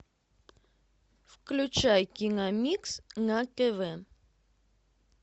включай киномикс на тв